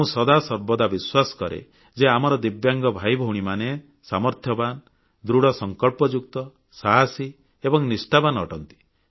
ମୁଁ ସଦାସର୍ବଦା ବିଶ୍ୱାସ କରେ ଯେ ଆମର ଦିବ୍ୟାଙ୍ଗ ଭାଇଭଉଣୀମାନେ ସାମର୍ଥ୍ୟବାନ୍ ଦୃଢ଼ ସଂକଳ୍ପଯୁକ୍ତ ସାହସୀ ଏବଂ ନିଷ୍ଠାବାନ ଅଟନ୍ତି